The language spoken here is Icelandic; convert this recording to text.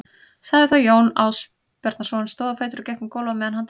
sagði þá Jón Ásbjarnarson, stóð á fætur og gekk um gólf á meðan hann talaði